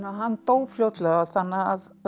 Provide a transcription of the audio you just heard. hann dó fljótlega þannig að